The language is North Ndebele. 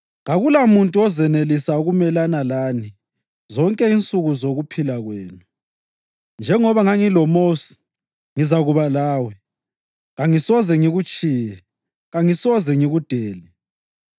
Kakulamuntu ozenelisa ukumelana lani zonke insuku zokuphila kwenu. Njengoba ngangiloMosi, ngizakuba lawe; kangisoze ngikutshiye, kangisoze ngikudele.